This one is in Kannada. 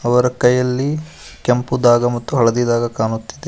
ಅವರ ಕೈಯಲ್ಲಿ ಕೆಂಪು ದಾಗ ಮತ್ತು ಹಳದಿ ದಾಗ ಕಾಣುತ್ತಿದೆ.